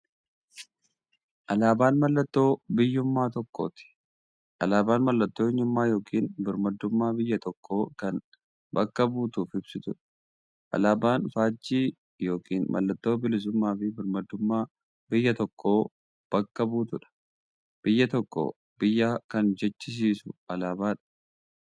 Alaabaan mallattoo biyyuummaa biyya tokkooti. Alaabaan mallattoo eenyummaa yookiin birmaadummaa biyya tokkoo kan bakka buutuuf ibsituudha. Alaabaan faajjii yookiin maallattoo bilisuummaafi birmaadummaa biyya tokkoo kan bakka buutuudha. Biyya tokko biyya kan jechisisuu alaabadha.